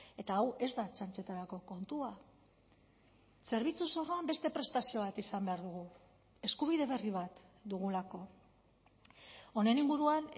eta hau ez da txantxetarako kontua zerbitzu zorroan beste prestazio bat izan behar dugu eskubide berri bat dugulako honen inguruan